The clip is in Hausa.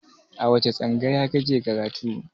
A wace tsangaya ka ke karatu?